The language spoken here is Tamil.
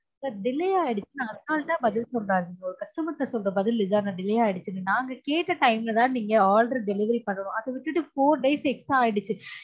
sir delay ஆகிடுச்சுனு அசால்ட்டா பதில் சொல்றாங்க sir customer கிட்ட சொல்ற பதில் இதானா delay ஆகிடுச்சுனு நாங்க கேட்ட time ல தான் நீங்க order delivery பண்ணனும் அத விட்டுட்டு four days extra ஆகிடுச்சு